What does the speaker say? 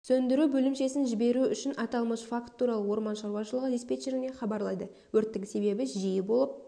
сөндіру бөлімшесін жіберу үшін аталмыш факт туралы орман шаруашылығы диспетчеріне хабарлайды өрттің себебі жиі болып